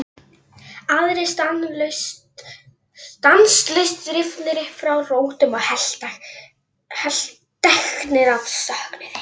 Aðrir stanslaust rifnir upp frá rótum og helteknir af söknuði.